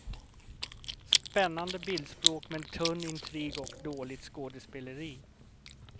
Spännande bildspråk, men tunn intrig och dåligt skådespeleri.